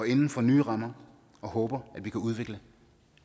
inden for nye rammer og håber at vi kan udvikle